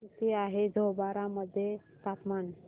किती आहे जांभोरा मध्ये तापमान